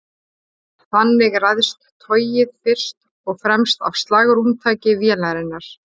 Þannig ræðst togið fyrst og fremst af slagrúmtaki vélarinnar.